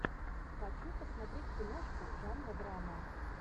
хочу посмотреть киношку жанра драма